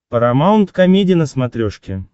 парамаунт комеди на смотрешке